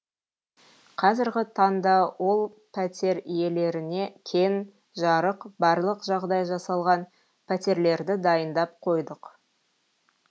қазіргі таңда ол пәтер иелеріне кең жарық барлық жағдай жасалған пәтерлерді дайындап қойдық